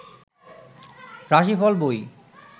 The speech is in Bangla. রাশিফল বই